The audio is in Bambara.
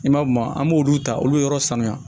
I m'a ye maa an b'olu ta olu yɔrɔ sanuya